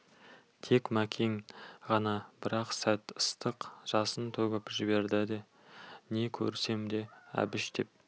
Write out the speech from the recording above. тек мәкен ғана бір-ақ сәт ыстық жасын төгіп жіберді де не көрсем де әбіш деп